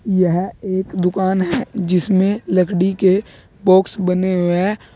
यह एक दुकान है जिसमें लकड़ी के बॉक्स बने हुए है।